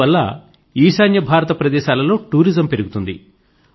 ఇందువల్ల ఈశాన్య భారత ప్రదేశాల లో టూరిజం పెరుగుతుంది